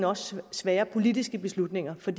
også svære politiske beslutninger for